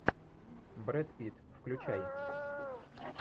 брэд питт включай